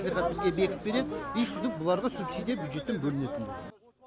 мәслихат бізге бекітіп береді и сөйтіп бұларға субсидия бюджеттен бөлінеді енді